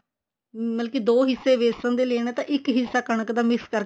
ਮਤਲਬ ਕਿ ਦੋ ਹਿੱਸੇ ਬੇਸਨ ਦੇ ਲੈਨੇ ਤਾਂ ਇੱਕ ਹਿੱਸਾ ਤਾਂ ਇੱਕ ਹਿੱਸਾ ਕਣਕ ਦਾ mix ਕਰਕੇ